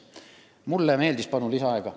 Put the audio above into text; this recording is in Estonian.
Kolm minutit lisaaega.